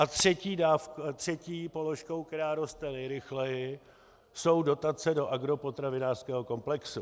A třetí položkou, která roste nejrychleji, jsou dotace do agropotravinářského komplexu.